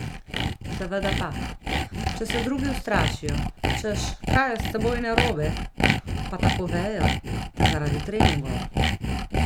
Seveda pa, če se drugi ustrašijo, češ kaj je s teboj narobe, pa tako vejo, da zaradi treningov.